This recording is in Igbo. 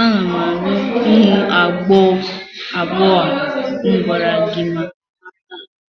ana m alụ ụmụ agbọghọ abụọ ahụ m gwara gi maka ha taa.